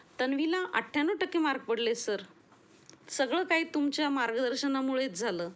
तन्वीला अठ्ठ्याण्णव टक्के मार्क पडले सर, सगळं काही तुमच्या मार्गदर्शना मुळेच झालं.